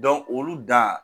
olu dan